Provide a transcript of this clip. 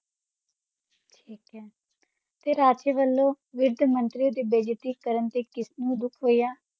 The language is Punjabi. ਤੇ ਰਾਜੀ ਵਲੋਂ ਵਿਰਦ ਮੰਤ੍ਰਿਯਾਂ ਦੀ ਬਾਜ਼ੇਤੀ ਕਰਨ ਤੇ ਕਿਸਨੁ ਦੁਖ ਹੋਯਾ